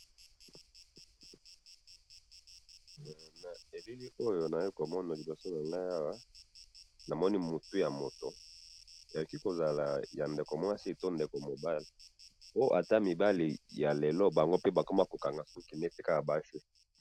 na miso nabiso awa tozayi komona batu ebele, pe moto oyo tomoni liboso awa azali bono nkumu ya ecolo ya fasi ,na kombo ya NIKOLAS SARKOZY.